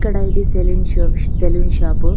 ఇక్కడ ఇది salon salon shop